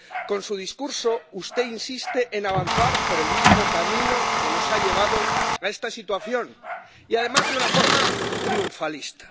Con su discurso, usted insiste en avanzar por el mismo camino que nos ha llevado a esta situación y, además, de una forma triunfalista.